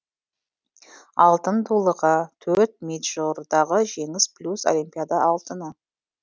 алтын дулыға төрт мэйджордағы жеңіс плюс олимпиада алтыны